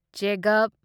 ꯆꯦꯒꯞ